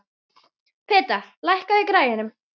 Peta, lækkaðu í græjunum.